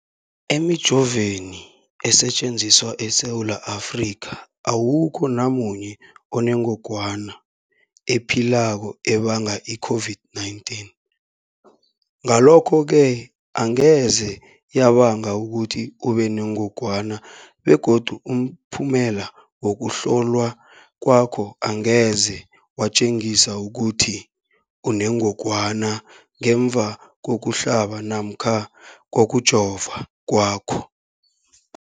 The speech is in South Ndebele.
Emijoveni esetjenziswa eSewula Afrika, awukho namunye onengog wana ephilako ebanga i-COVID-19. Ngalokho-ke angeze yabanga ukuthi ubenengogwana begodu umphumela wokuhlolwan kwakho angeze watjengisa ukuthi unengogwana ngemva kokuhlaba namkha kokujova kwakho.